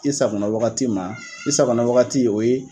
I sagona wagati ma, i safo wagati in o ye.